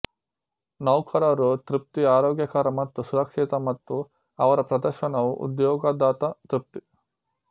ನೌಕರರು ತೃಪ್ತಿ ಆರೋಗ್ಯಕರ ಮತ್ತು ಸುರಕ್ಷಿತ ಮತ್ತು ಅವರ ಪ್ರದರ್ಶನವು ಉದ್ಯೋಗದಾತ ತೃಪ್ತಿ